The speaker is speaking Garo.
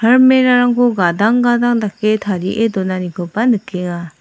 almerah rangko gadang gadang dake tarie donanikoba nikenga.